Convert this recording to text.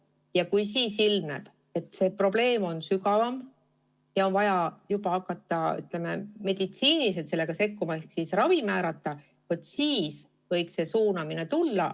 Ja kui siis ilmneb, et probleem on sügavam ja on vaja hakata meditsiiniliselt sekkuma ehk ravi määrama, siis võiks suunamine tulla.